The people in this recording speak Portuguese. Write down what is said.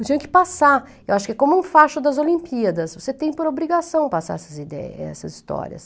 Eu tinha que passar, eu acho que é como um facho das Olimpíadas, você tem por obrigação passar essas ideias, essas histórias.